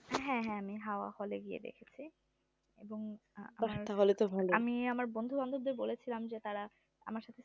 হ্যাঁ হ্যাঁ আমি হাওয়া hall এ গিয়ে দেখেছি এবং আমি আমার বন্ধু বান্ধবদের বলেছিলাম যে তারা আমার সাথে